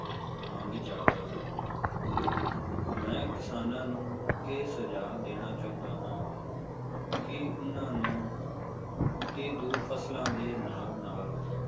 ਮੰਗ ਜ਼ਯਾਦਾ ਹੈ ਮੈਂ ਕਿਸਾਨਾਂ ਨੂੰ ਇਹ ਸੁਝਾਹ ਦੇਣਾ ਚਾਹੰਦਾ ਹਾਂ ਕਿ ਓਹਨਾ ਨੂੰ ਇਹ ਦੋ ਫਸਲਾਂ ਦੇ ਨਾਲ ਨਾਲ,